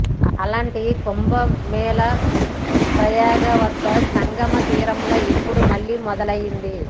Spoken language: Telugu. అలాంటి కుంభమేళా ప్రయాగ వద్ద సంగమ తీరంలో ఇపుడు మళ్లీ మొదలైంది